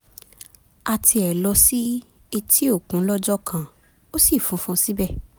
a tiẹ̀ lọ sí etí-òkun lọ́jọ́ kan ó ṣì funfun síbẹ̀